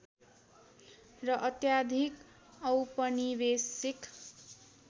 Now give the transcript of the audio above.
र अत्याधिक औपनिवेशिक